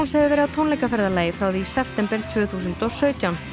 hefur verið á tónleikaferðalagi frá því í september tvö þúsund og sautján